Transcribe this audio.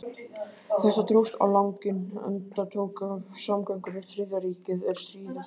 Þetta dróst á langinn, enda tók af samgöngur við Þriðja ríkið, er stríðið hófst.